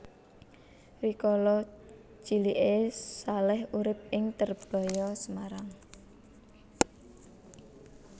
Rikala ciliké Salèh urip ing Terbaya Semarang